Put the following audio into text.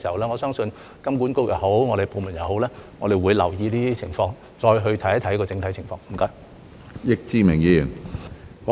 我相信金管局或我們部門檢視這些問題時，也會留意這些情況，再去看看整體情況。